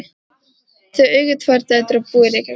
Þau eiga tvær dætur og búa í Reykjavík.